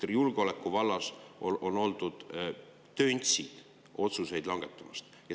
Julgeolekuvallas on oldud töntsid otsuseid langetama.